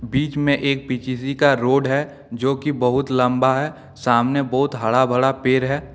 बीच में एक का रोड है जो कि बहुत लंबा है सामने बहुत हरा भरा पेड़ है।